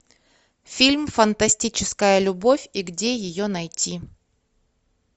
фильм фантастическая любовь и где ее найти